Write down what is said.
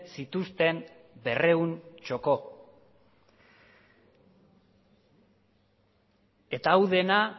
zituzten berrehun txoko eta hau dena